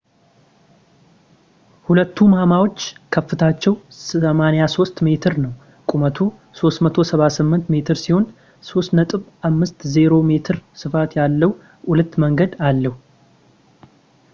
ሁለቱ ማማዎች ከፍታቸው 83 ሜትር ነው ቁመቱ 378 ሜትር ሲሆን 3.50 ሜትር ስፋት ያለው ሁለት መንገድ አለው